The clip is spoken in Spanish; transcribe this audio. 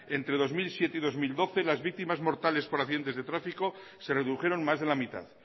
entre dos mil siete y dos mil doce las víctimas mortales por accidentes de tráfico se redujeron más de la mitad